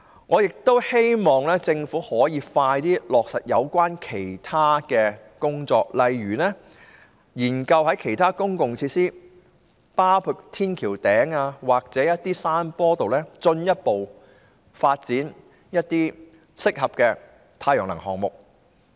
我也希望政府盡快落實其他有關工作，例如研究在其他公共設施，包括天橋頂或山坡上，進一步發展適合的太陽能項目。